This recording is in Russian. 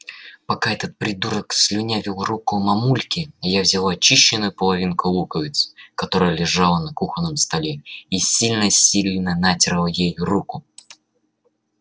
пока этот придурок слюнявил руку мамульке я взяла очищенную половинку луковицы которая лежала на кухонном столе и сильно-сильно натёрла ей руку